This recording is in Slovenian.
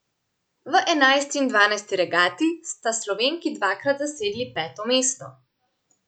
V enajsti in dvanajsti regati sta Slovenki dvakrat zasedli peto mesto.